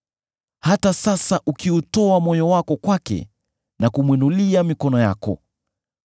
“Hata sasa ukiutoa moyo wako kwake na kumwinulia mikono yako,